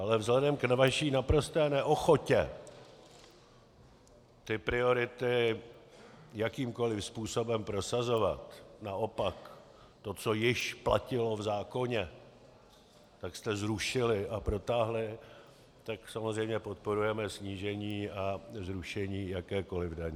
Ale vzhledem k vaší naprosté neochotě ty priority jakýmkoli způsobem prosazovat, naopak to, co již platilo v zákoně, tak jste zrušili a protáhli, tak samozřejmě podporujeme snížení a zrušení jakékoli daně.